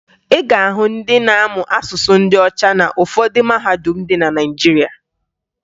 Ị ga-ahụ ndị na-amụ asụsụ ndị ọcha na ụfọdụ mahadum dị na Naịjirịa.